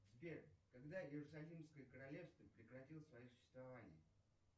сбер когда иерусалимское королевство прекратило свое существование